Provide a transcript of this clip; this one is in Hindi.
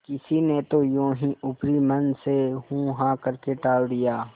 किसी ने तो यों ही ऊपरी मन से हूँहाँ करके टाल दिया